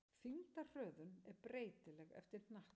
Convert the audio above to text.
Þyngdarhröðun er breytileg eftir hnattstöðu.